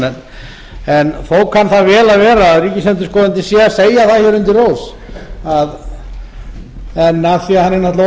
þó kann það vel að vera að ríkisendurskoðanda sé að segja það undir rós en af því hann er náttúrulega